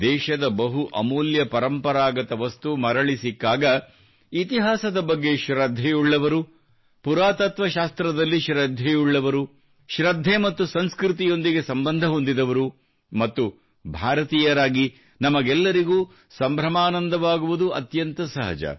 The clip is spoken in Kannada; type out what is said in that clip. ದೇಶದ ಬಹು ಅಮೂಲ್ಯ ಪರಂಪರಾಗತ ವಸ್ತು ಮರಳಿ ಸಿಕ್ಕಾಗ ಇತಿಹಾಸದ ಬಗ್ಗೆ ಶೃದ್ಧೆಯುಳ್ಳವರು ಪುರಾತತ್ವ ಶಾಸ್ತ್ರದಲ್ಲಿ ಶೃದ್ಧೆಯುಳ್ಳವರು ಶೃದ್ಧೆ ಮತ್ತು ಸಂಸ್ಕೃತಿಯೊಂದಿಗೆ ಸಂಬಂಧ ಹೊಂದಿದವರು ಮತ್ತು ಭಾರತೀಯರಾಗಿ ನಮಗೆಲ್ಲರಿಗೂ ಸಂಭ್ರಮಾನಂದವಾಗುವುದು ಅತ್ಯಂತ ಸಹಜ